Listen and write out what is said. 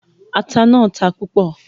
Ata náà ta púpò